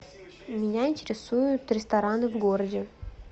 меня интересуют рестораны в городе